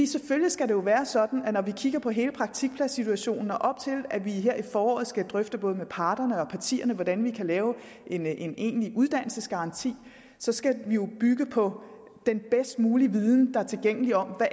selvfølgelig skal det være sådan at når vi kigger på hele praktikpladssituationen og op til at vi her til foråret skal drøfte både med parterne og partierne hvordan vi kan lave en en egentlig uddannelsesgaranti skal vi jo bygge på den bedst mulige viden der er tilgængelig om